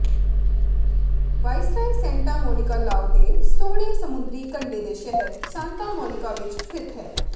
viceroy Santa Monica ਲਾਓ ਦੇ ਸੋਹਣੇ ਸਮੁੰਦਰੀ ਕੰਢੇ ਦੇ ਸ਼ਹਿਰ ਸਾਂਤਾ ਮੋਨੀਕਾ ਵਿੱਚ ਸਥਿਤ ਹੈ